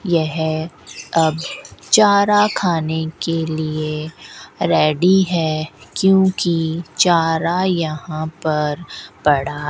यह अब चारा खाने के लिए रेडी है क्योंकि चारा यहां पर पड़ा --